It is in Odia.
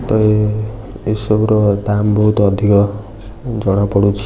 ତେଣୁ ଏସବୁର ଦାମ୍ ବହୁତ୍ ଅଧିକ ଜଣାପଡ଼ୁଛି ।